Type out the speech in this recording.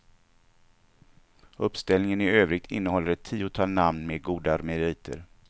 Uppställningen i övrigt innehåller ett tiotal namn med goda meriter.